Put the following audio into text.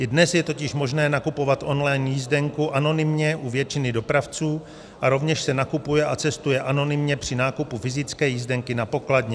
I dnes je totiž možné nakupovat online jízdenku anonymně u většiny dopravců a rovněž se nakupuje a cestuje anonymně při nákupu fyzické jízdenky na pokladně.